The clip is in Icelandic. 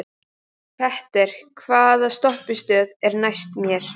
Petter, hvaða stoppistöð er næst mér?